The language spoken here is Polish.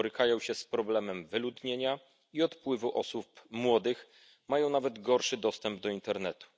Borykają się z problemem wyludnienia i odpływu osób młodych, mają nawet gorszy dostęp do internetu.